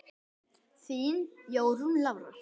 Þín Jórunn Lára.